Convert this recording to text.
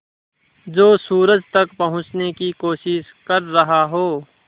जो सूरज तक पहुँचने की कोशिश कर रहा हो